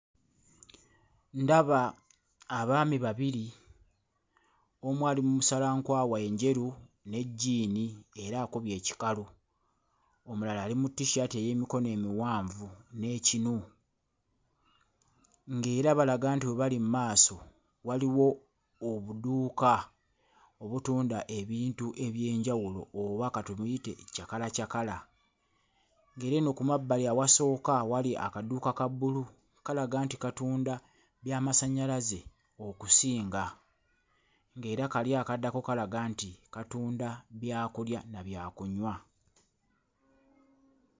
Ndaba abaami babiri; omu ali mu musalankwawa enjeru ne jjiini era akubye ekikalu, omulala ali mu tissaati ey'emikono emiwanvu n'ekinu ng'era balaga nti we bali mu maaso waliwo obuduuka obutunda ebintu eby'enjawulo oba ka tumuyite cakalacakala, ng'era eno ku mabbali awasooka awali akaduuka ka bbulu kalaga nti katunda byamasannyalaze okusinga ng'era kali akaddako kalaga nti katunda byakulya na byakunywa.